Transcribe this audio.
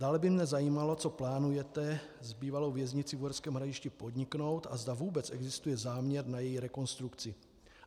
Dále by mě zajímalo, co plánujete s bývalou věznicí v Uherském Hradišti podniknout a zda vůbec existuje záměr na její rekonstrukci.